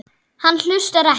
Hann hlustar ekki.